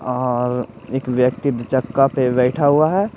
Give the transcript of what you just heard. और एक व्यक्ति चक्का पे बैठा हुआ है।